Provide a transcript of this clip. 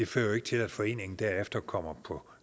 fører til at foreningen derefter kommer på